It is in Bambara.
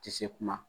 Tɛ se kuma